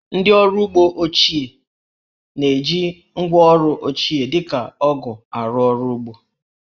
Ndị ọrụ ugbo ime obodo na-eji ngwáọrụ ochie, dị ka ọgụ̀ arụ ọrụ ugbo